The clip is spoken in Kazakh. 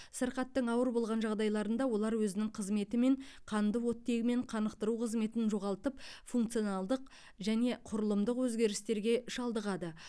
сырқаттың ауыр болған жағдайларында олар өзінің қызметі мен қанды оттегімен қанықтыру қызметін жоғалтып функционалдық және құрылымдық өзгерістерге шалдығады